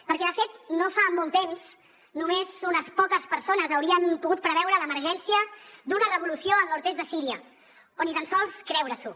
perquè de fet no fa molt temps només unes poques persones haurien pogut preveure l’emergència d’una revolució al nord est de síria o ni tan sols creure s’ho